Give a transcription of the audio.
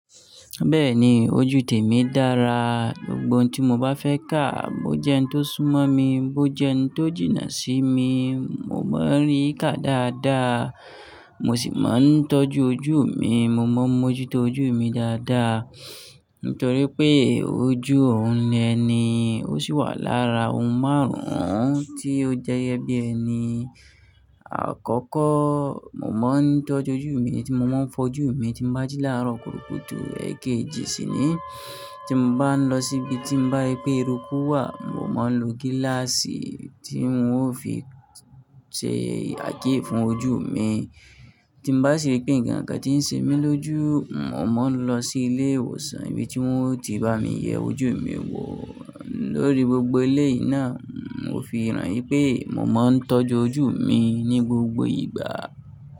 Bẹ́ẹ̀ni, ojú tèmi dára. Gbogbo n tí mo bá fẹ́ ká, bó jẹ́ n tó súmọ́ mi, bó jẹ́ n tó jìnnà sí mi, mo máa ń rí ká dáadáa. Mo sì máa ń tọ́jú ojú mi, mo mọ ojú tó ojú mi dáadáa. Nítorí pé ojú ọ̀hun ni ẹni, ó sì wà lára ohun márùn-ún tí ó jẹyẹ bí ẹni. Àkọ́kọ́, mo máa ń tọ́jú ojú mi tí mo máa ń fojú mi tí mo bá jí láàárọ̀ kúrùkùtù èkejì síní. Tí mo bá ń lọ síbi tí mo bá rí pé eruku wà, mo máa ń lo gíláàsì tí wọn ó fi ṣe àké fún ojú mi. Tí n bá si rí pé ǹkan kan tí ń ṣe mí lójú, mo máa ń lọ sí ilé ìwòsàn ibi tí wọ́n ti bá mi yẹ ojú mi wò. Lórí gbogbo eléyi náà, mo fi ràn wípé mo máa ń tọ́jú ojú mi ní gbogbo ìgbà.